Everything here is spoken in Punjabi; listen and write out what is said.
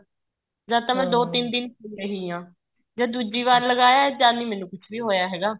ਜਦ ਤਾਂ ਮੈਂ ਦੋ ਤਿੰਨ ਪਈ ਰਹੀ ਹਾਂ ਜਦ ਦੂਜੀ ਵਾਰ ਲਗਾਇਆ ਜਦ ਵੀ ਮੈਨੂੰ ਕੁੱਛ ਨਹੀਂ ਹੋਇਆ ਹੈਗਾ